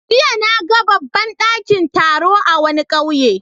Jiya na ga babban dakin taro a wani kauye.